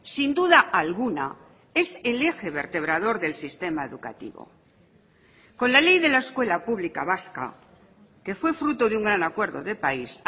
sin duda alguna es el eje vertebrador del sistema educativo con la ley de la escuela pública vasca que fue fruto de un gran acuerdo de país